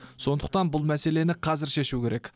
сондықтан бұл мәселені қазір шешу керек